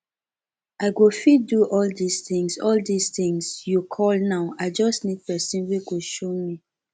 i go fit do all dis things all dis things you call now i just need person wey go show me